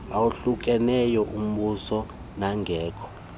awahlukeneyo ombuso nangekho